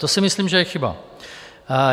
To si myslím, že je chyba.